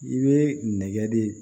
I bɛ nɛgɛ de